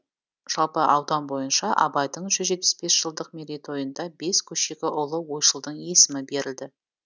жалпы аудан бойынша абайдың жүз жетпіс бес жылдық мерейтойында бес көшеге ұлы ойшылдың есімі берілді